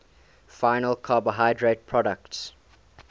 final carbohydrate products